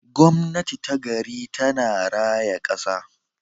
Gwamnati ta gari tana raya kasa.